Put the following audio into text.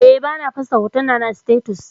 Eh, bana fosta hotunana a status